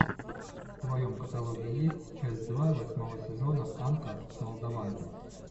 в твоем каталоге есть часть два восьмого сезона анка с молдованки